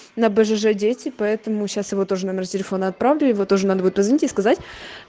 на бжж дети поэтому сейчас его тоже номер телефона отправлю его тоже надо будет позвонить и сказать